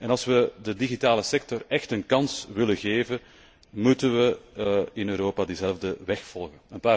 Als we de digitale sector echt een kans willen geven, moeten we in Europa diezelfde weg volgen.